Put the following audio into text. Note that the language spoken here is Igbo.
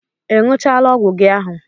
I ṅụchaala ọgwụ gị ahụ?